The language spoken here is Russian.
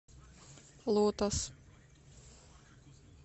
лотос